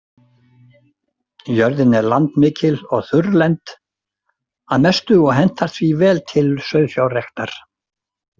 Jörðin er landmikil og þurrlend að mestu og hentar því vel til sauðfjárræktar.